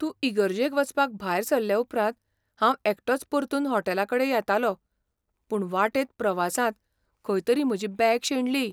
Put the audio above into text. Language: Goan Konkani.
तूं इगर्जेक वचपाक भायर सरले उपरांत, हांव एकटोच परतून हॉटेलाकडें येतालों, पूण वाटेंत प्रवासांत खंय तरी म्हजी बॅग शेणली.